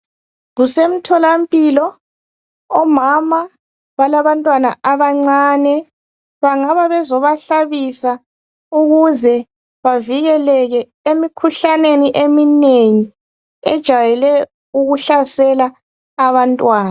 Kusemtholampilo, omama balabantwana abancane. Bangaba bezobahlabisa ukuze bavikeleke emikhuhlaneni eminengi ejayele ukuhlasela abantwana.